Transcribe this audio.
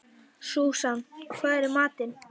Súsan, hvað er í matinn?